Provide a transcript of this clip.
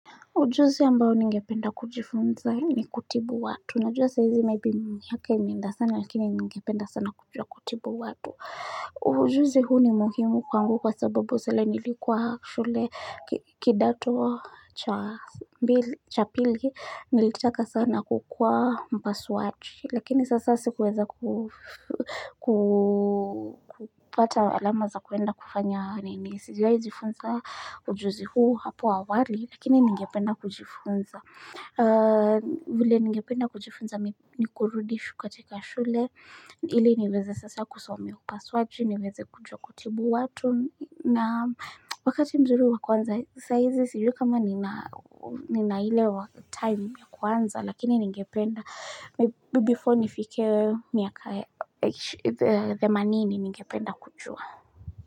Ujuzi ambao ningependa kujifunza ni kutibu watu. Najua saizi maybe miaka imeenda sana lakini ningependa sana kujua kutibu watu. Ujuzi huu ni muhimu kwangu kwa sababu zela nilikuwa shule kidato cha pili. Nilitaka sana kukuwaa mpasuaji watu. Lakini sasa sikuweza kupata alama za kuenda kufanya nini. Sijua hizifunza ujuzi huu hapo awali, lakini ningependa kujifunza. Vile ningependa kujifunza, ni kurudi shuka teka shule. Ile niweze sasa kusomea upaswaji, niweze kujua kutibu watu. Na wakati mzuri wakuanza saizi, sijui kama nina hile wa time ya kuanza, lakini ningependa. Before nifike the money ni ningependa kujua.